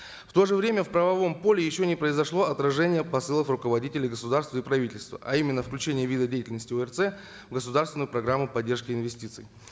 в то же время в правовом поле еще не произошло отражение посылов руководителей государства и правительства а именно включение вида деятельности орц в государственную программу поддержки инвестиций